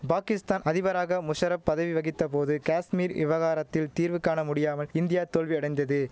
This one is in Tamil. பாகிஸ்தான் அதிபராக முஷரப் பதவி வகித்த போது காஷ்மீர் இவகாரத்தில் தீர்வு காண முடியாமல் இந்தியா தோல்வியடைந்தது